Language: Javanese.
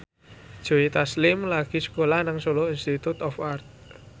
Joe Taslim lagi sekolah nang Solo Institute of Art